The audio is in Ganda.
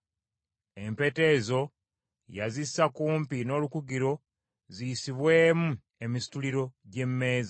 Empeta ezo yazissa kumpi n’olukugiro ziyisibwemu emisituliro gy’emmeeza.